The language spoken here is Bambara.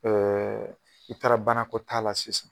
Ɛɛ i taara banakɔ taa la sisan